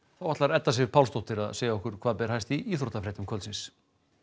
þá ætlar Edda Sif Pálsdóttir að segja okkur hvað ber hæst í íþróttafréttum kvöldsins